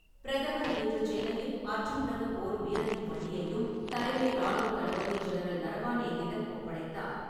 பிரதமர் இன்று சென்னையில் அர்ஜுன் ரக போர் பீரங்கி வண்டியையும் தலைமை ராணுவத் தளபதி ஜெனரல் நரவானேயிடம் ஒப்படைத்தார்.